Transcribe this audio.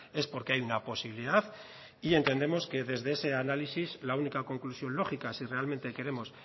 es porque hay una posibilidad entendemos que desde ese análisis la única conclusión lógica si realmente queremos